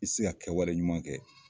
I tɛ se ka kɛwale ɲuman kɛ.